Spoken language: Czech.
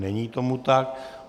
Není tomu tak.